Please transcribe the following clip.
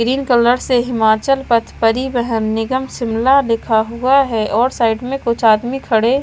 green colour से हिमाचल पथ परिवहन निगम शिमला लिखा हुआ है और साइड में कुछ आदमी खड़े--